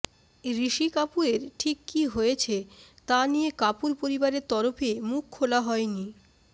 ঋষি কাপুরের ঠিক কী হয়েছে তা নিয়ে কাপুর পরিবারের তরফে মুখ খোলা হয়নি